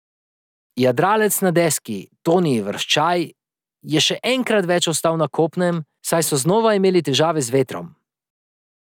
Jadralec na deski Toni Vrščaj je še enkrat več ostal na kopnem, saj so znova imeli težave z vetrom.